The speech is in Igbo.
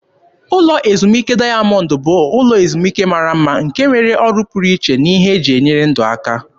Ụlọ ezumike dayamọndụ bụ ụlọ ezumike mara mma nke nwere ọrụ pụrụ iche na ihe eji enyere ndụ aka.